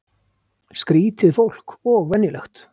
Skrýtið fólk og venjulegt.